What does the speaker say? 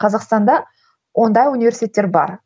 қазақстанда ондай университеттер бар